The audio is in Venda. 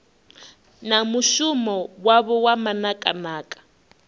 na mushumo wavho wa manakanaka